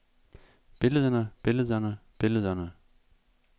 billederne billederne billederne